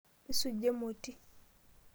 Isuja emoti?